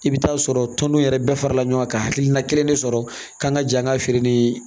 I bɛ taa sɔrɔ tɔndenw yɛrɛ bɛɛ farala ɲɔgɔn kan ka hakilina kelen de sɔrɔ kan ka ja ka feere ni